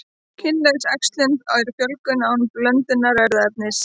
Kynlaus æxlun er fjölgun án blöndunar erfðaefnis.